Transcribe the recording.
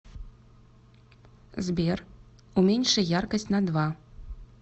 сбер уменьши яркость на два